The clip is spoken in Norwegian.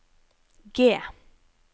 G